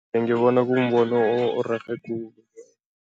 Ngibona kumbono orerhe khulu.